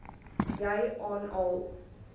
jy aan al